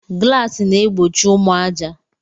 Glasis na egbochi ụmụ aja.